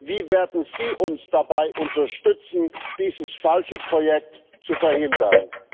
Wie werden Sie uns dabei unterstützen, dieses falsche Projekt zu verhindern?